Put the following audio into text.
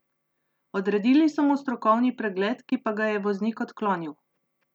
Odredili so mu strokovni pregled, ki pa ga je voznik odklonil.